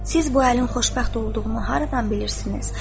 “Siz bu əlin xoşbəxt olduğunu haradan bilirsiniz?”